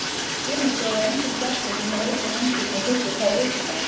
Sumir bjóða engum gestum, sem reykja, heim til sín fyrstu tvær vikurnar.